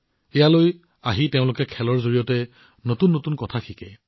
সৰু লৰাছোৱালীবোৰে খেলি থাকোঁতে নতুন বস্তু শিকিবলৈ ইয়ালৈ আহে